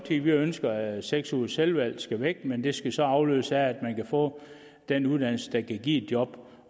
vi ønsker at seks ugers selvvalgt uddannelse skal væk men det skal så afløses af at man kan få den uddannelse der kan give et job